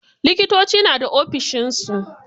Likitoci na da ofishin su.